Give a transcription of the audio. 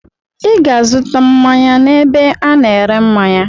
I ga-azụta mmanya n'ebe a na-ere mmanya!